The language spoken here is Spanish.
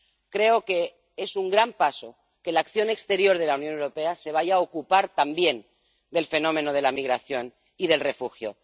Creo que es un gran paso que la acción exterior de la Unión Europea se vaya a ocupar también del fenómeno de la migración y los refugiados.